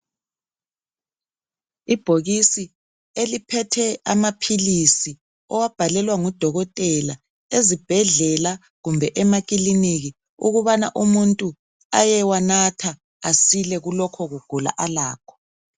Ibhokisi eliphethe amaphilisi owabhalelwa ngudokotela ezibhedlela kumbe emakiliniki ukubana umuntu ayewanatha asile kulokho kugula alakho.